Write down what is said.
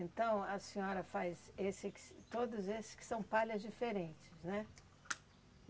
Então a senhora faz esses todos esses que são palhas diferentes, né?